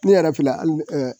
Ne yɛrɛ fila hali